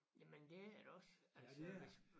Jamen det er det også altså hvis